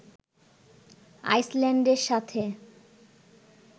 আইসল্যান্ডের সাথে